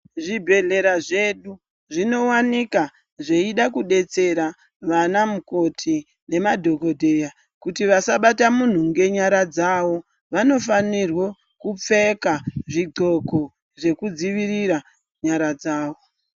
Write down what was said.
Zvibhedhlera zvedu zvinowanikwa zveida kudetsera vana mukoti nemadhokodheya kuti vasabata muntu ngenyara dzavo vanofanirwa kupfeka zvid'oko zvekudzivirira nyara dzavo.